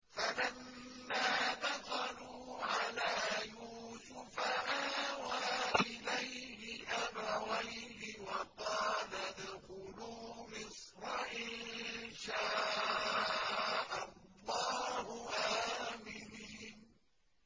فَلَمَّا دَخَلُوا عَلَىٰ يُوسُفَ آوَىٰ إِلَيْهِ أَبَوَيْهِ وَقَالَ ادْخُلُوا مِصْرَ إِن شَاءَ اللَّهُ آمِنِينَ